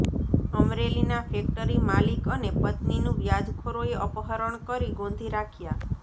અમરેલીના ફેકટરી માલિક અને પત્નીનું વ્યાજખોરોએ અપહરણ કરી ગોંધી રાખ્યા